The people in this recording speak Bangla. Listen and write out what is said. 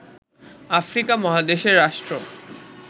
আফ্রিকা মহাদেশের রাষ্ট্র